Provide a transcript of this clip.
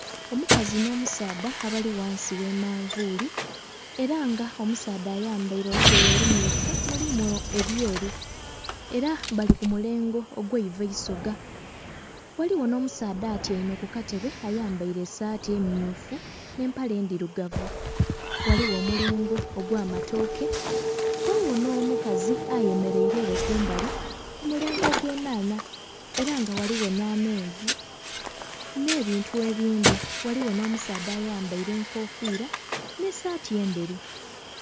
Omukazi no musaadha abali ghansi gha manvuli era nga omusaadha ayambaire olugoye olumyufu mulimu ebyeru. Era bali kumulengo ogwe iva eisoga. Ghaligho no musaadha atiame ku katebe ayambaire esati emyufu ne mpale ndirugavu. Ghaligho omulengo ogwa matooke ghaligho no mukazi ayemereire kumbali ku mulengo ogwe nnanha era nga ghaligho na menvu ne bintu ebindi. Ghaligho no musaadha ayambaire enkofira ne saati enderu